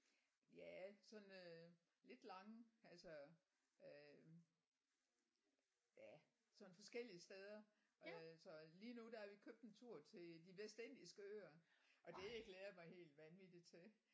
Ja sådan øh lidt lange altså øh ja sådan forskellige steder øh så lige nu der har vi købt en tur til De Vestindiske Øer og det glæder jeg mig helt vanvittigt til